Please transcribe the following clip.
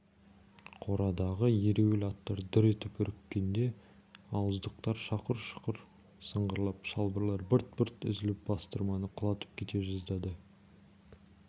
қорадағы ереуіл аттар дүр етіп үріккенде ауыздықтар шақұр-шұқыр сыңғырлап шылбырлар бырт-бырт үзіліп бастырманы құлатып кете жаздады